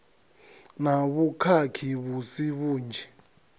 na vhukhakhi vhu si vhunzhi